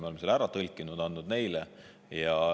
Me oleme selle ära tõlkinud ja andnud neile.